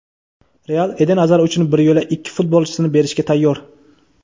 "Real" Eden Azar uchun bir yo‘la ikki futbolchisini berishga tayyor.